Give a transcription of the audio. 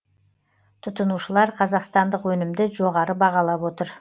тұтынушылар қазақстандық өнімді жоғары бағалап отыр